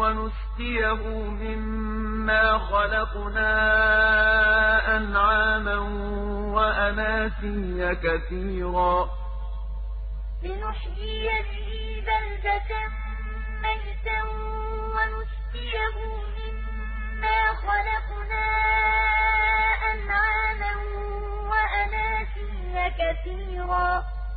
وَنُسْقِيَهُ مِمَّا خَلَقْنَا أَنْعَامًا وَأَنَاسِيَّ كَثِيرًا لِّنُحْيِيَ بِهِ بَلْدَةً مَّيْتًا وَنُسْقِيَهُ مِمَّا خَلَقْنَا أَنْعَامًا وَأَنَاسِيَّ كَثِيرًا